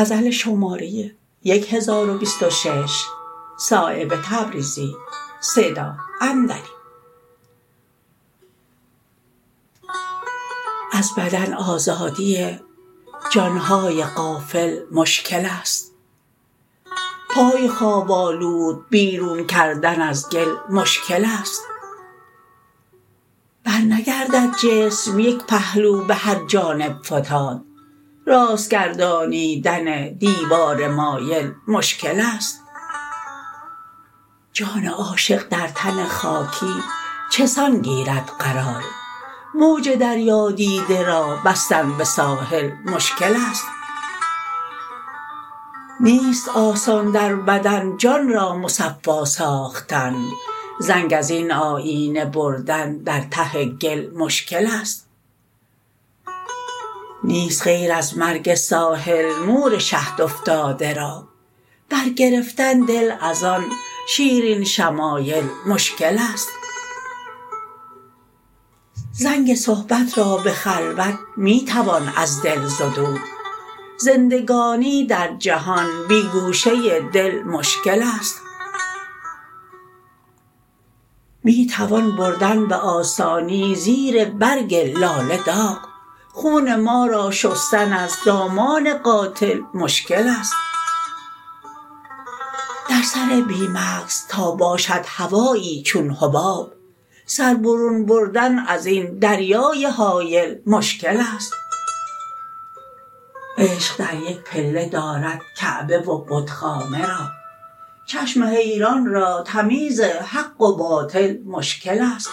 از بدن آزادی جانهای غافل مشکل است پای خواب آلود بیرون کردن از گل مشکل است برنگردد جسم یک پهلو به هر جانب فتاد راست گردانیدن دیوار مایل مشکل است جان عاشق در تن خاکی چسان گیرد قرار موج دریا دیده را بستن به ساحل مشکل است نیست آسان در بدن جان را مصفا ساختن زنگ ازین آیینه بردن در ته گل مشکل است نیست غیر از مرگ ساحل مور شهد افتاده را بر گرفتن دل ازان شیرین شمایل مشکل است زنگ صحبت را به خلوت می توان از دل زدود زندگانی در جهان بی گوشه دل مشکل است می توان بردن به آسانی زیر برگ لاله داغ خون ما را شستن از دامان قاتل مشکل است در سر بی مغز تا باشد هوایی چون حباب سر برون بردن ازین دریای هایل مشکل است عشق در یک پله دارد کعبه و بتخانه را چشم حیران را تمیز حق و باطل مشکل است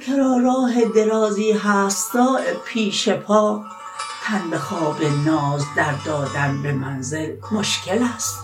هر که را راه درازی هست صایب پیش پا تن به خواب ناز در دادن به منزل مشکل است